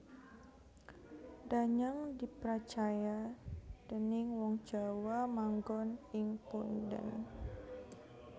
Danyang dipracaya déning wong Jawa manggon ing punden